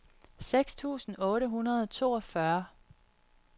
seks tusind otte hundrede og toogfyrre